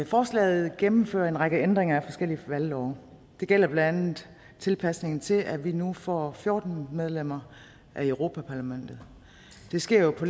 forslaget gennemfører en række ændringer af forskellige valglove det gælder blandt andet tilpasningen til at vi nu får fjorten medlemmer af europa parlamentet det sker jo på